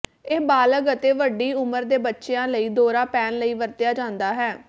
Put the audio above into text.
ਇਹ ਬਾਲਗ ਅਤੇ ਵੱਡੀ ਉਮਰ ਦੇ ਬੱਚਿਆਂ ਲਈ ਦੌਰਾ ਪੈਣ ਲਈ ਵਰਤਿਆ ਜਾਂਦਾ ਹੈ